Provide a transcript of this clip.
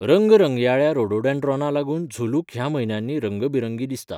रंगरंगयाळ्या रोडोडँड्राना लागून झुलुक ह्या म्हयन्यांनी रंगबिरंगी दिसता.